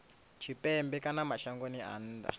tshipembe kana mashangoni a nnḓa